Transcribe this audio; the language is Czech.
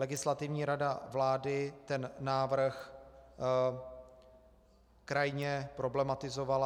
Legislativní rada vlády ten návrh krajně problematizovala.